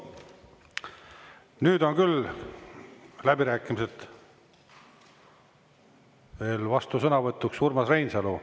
Nüüd on küll läbirääkimised … veel vastusõnavõtuks Urmas Reinsalu.